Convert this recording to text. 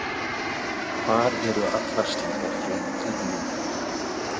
Hvar eru allar slíkar fréttir núna?